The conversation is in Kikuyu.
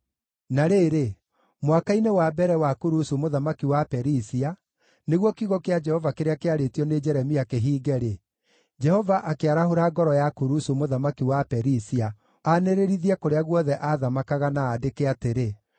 Na rĩrĩ, mwaka-inĩ wa mbere wa Kurusu mũthamaki wa Perisia, nĩguo kiugo kĩa Jehova kĩrĩa kĩarĩtio nĩ Jeremia kĩhiinge-rĩ, Jehova akĩarahũra ngoro ya Kurusu mũthamaki wa Perisia aanĩrĩrithie kũrĩa guothe aathamakaga, na andĩke atĩrĩ: